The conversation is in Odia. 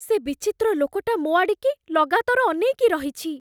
ସେ ବିଚିତ୍ର ଲୋକଟା ମୋ' ଆଡ଼ିକି ଲଗାତର ଅନେଇକି ରହିଛି ।